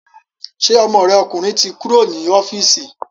Ṣé ọmọ rẹ ọkùnrin ti kúrò ní ọ́fíìsì